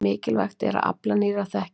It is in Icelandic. Mikilvægt er að afla nýrrar þekkingar.